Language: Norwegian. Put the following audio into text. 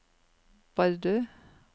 Bardu